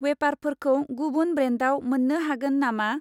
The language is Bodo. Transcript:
वेफारफोरखौ गुबुन ब्रेन्डाव मोन्नो हागोन नामा?